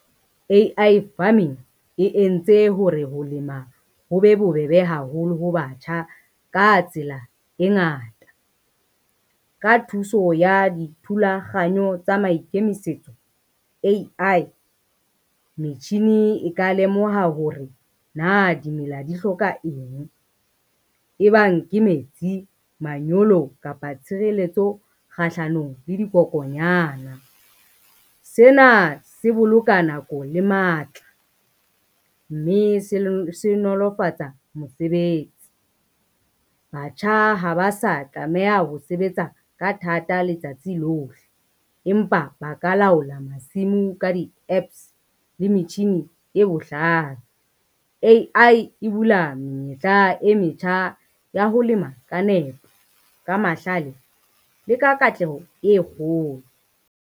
A_I farming, e entse hore ho lema ho be bobebe haholo ho batjha ka tsela e ngata. Ka thuso ya dithulaganyo tsa maikemisetso A_I, metjhini e ka lemoha hore na dimela di hloka eng, e bang ke metsi, manyolo kapa tshireletso kgahlanong le dikokonyana. Sena se boloka nako le matla mme se nolofatsa mosebetsi, batjha ha ba sa tlameha ho sebetsa ka thata letsatsi lohle empa ba ka laola masimo ka di app le metjhini e bohlale. A_I e bula menyetla e metjha ya ho lema ka nepo ka mahlale le ka katleho e kgolo.